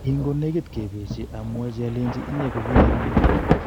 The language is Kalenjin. Kin konegit kepesie amwochi olenji "inye ko kiinyerenan"